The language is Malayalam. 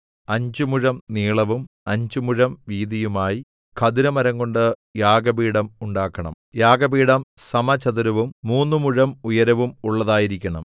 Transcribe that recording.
അഞ്ച് മുഴം നീളവും അഞ്ച് മുഴം വീതിയുമായി ഖദിരമരംകൊണ്ട് യാഗപീഠം ഉണ്ടാക്കണം യാഗപീഠം സമചതുരവും മൂന്ന് മുഴം ഉയരവും ഉള്ളതായിരിക്കണം